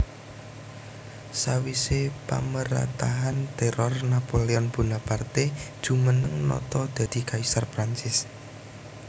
Sawisé pamarétahan téror Napoleon Bonaparte jumeneng nata dadi kaisar Prancis